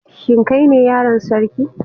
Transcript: Shin kai ne yaron sarki?